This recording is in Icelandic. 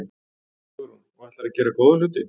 Hugrún: Og ætlarðu að gera góða hluti?